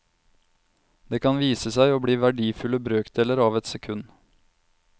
Det kan vise seg å bli verdifulle brøkdeler av et sekund.